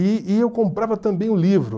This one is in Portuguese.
E e eu comprava também o livro.